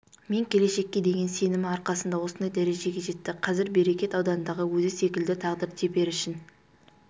мен келешекке деген сенімі арқасында осындай дәрежеге жетті қазір берекет аудандағы өзі секілді тағдыр теперішін